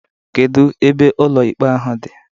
Kedụ ebe ụlọ ikpe ahụ dị?